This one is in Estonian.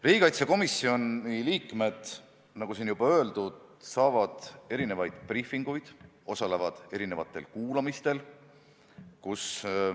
Riigikaitsekomisjoni liikmed, nagu siin juba öeldud, saavad erinevaid briifinguid ja osalevad mitmesugustel kuulamistel.